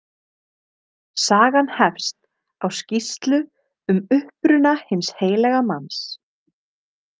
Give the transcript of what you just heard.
Sagan hefst á skýrslu um uppruna hins heilaga manns.